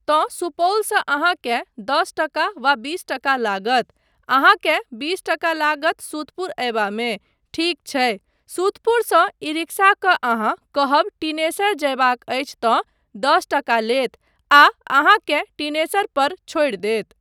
तँ सुपौलसँ अहाँकेँ दस टका वा बीस टका लागत, अहाँकेँ बीस टका लागत सुतपुर अयबामे, ठीक छै, सुतपुरसँ ई रिक्सा कऽ अहाँ कहब टिनेसर जयबाक अछि तँ दस टका लेत आ अहाँकेँ टिनेसर पर छोड़ि देत।